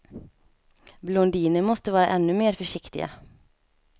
Blondiner måste vara ännu mer försiktiga.